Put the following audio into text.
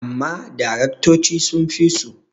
amma daraktoci sun fi su